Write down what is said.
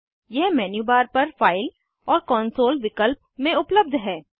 यह menu bar पर file और कॉन्सोल विकल्प में उपलब्ध है